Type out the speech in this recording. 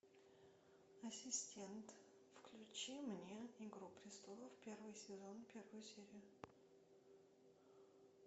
ассистент включи мне игру престолов первый сезон первую серию